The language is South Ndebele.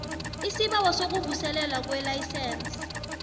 isibawo sokuvuselelwa kwelayisense